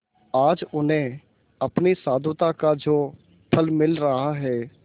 आज उन्हें अपनी साधुता का जो फल मिल रहा है